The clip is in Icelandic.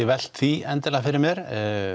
velt því endilega fyrir mér